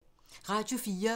Radio 4